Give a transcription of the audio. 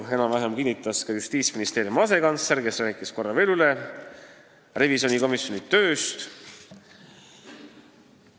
Enam-vähem sama kinnitas ka Justiitsministeeriumi asekantsler, kes rääkis korra veel revisjonikomisjoni tööst.